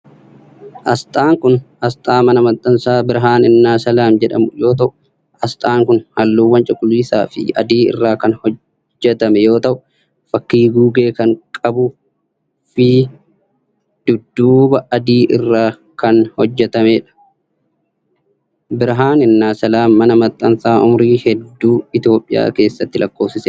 Asxaan kun, asxaa mana maxxansaa Birhaan innaa Salaam jedhamu yoo ta'u, asxaan kun haalluuwwan cuquliisa fi adii irraa kan hojjatame yoo ta'u, fakkii guugee kan qabuu fidudduuba adii irratti kan hojjatamee dha. Birhaani innaa Salaam ,mana maxxansaa umurii hedduu Itoophiyaa keessatti lakkoofsisee dha.